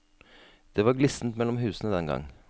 Det var glissent mellom husene den gang.